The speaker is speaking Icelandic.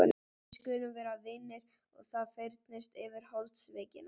Við skulum vera vinir og það fyrnist yfir holdsveikina.